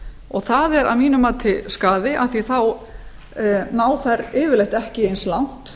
og það er að mínu mati skaði af því að þá ná þær yfirleitt ekki eins langt